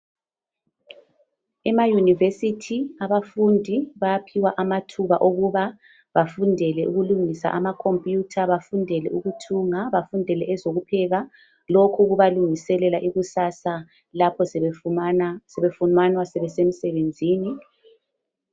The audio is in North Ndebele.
ema university abafundi bayaphiwa amathuba okuba bafundele ukulungisa ama computer bafundele ukuthunga bafundele ezokupheka lokhu kubalungiselela ikusasa lapho sebefunyana sebesemsebenzini